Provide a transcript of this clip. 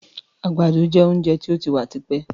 Àgbàdo jẹ oúnjẹ tí ó ti wà tipẹ́.